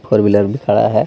Four wheeler भी खड़ा है.